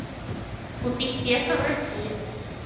купить песо в россии